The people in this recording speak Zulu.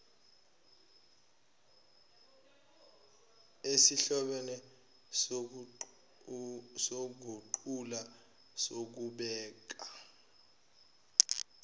esihlobene sokuguqula sokubeka